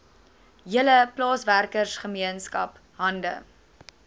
hele plaaswerkergemeenskap hande